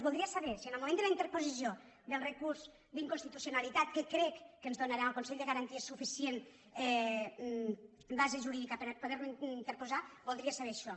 voldria saber si en el moment de la interposició del recurs d’inconstitucionalitat que crec que ens donarà el consell de garanties suficient base jurídica per po·der·lo interposar voldria saber això